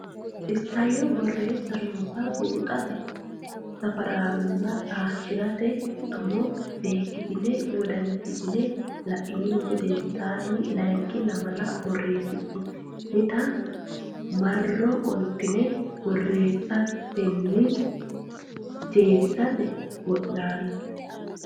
Isayyo Borreessa noota buuxote safaraanonna taashshi rote tumo seekkitine wodanchitine la inihu gedensaanni layinki lamala borreessitinita marro qoltine borreessatenni jeefisate wo naalle.